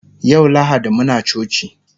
yau lahadi Muna coci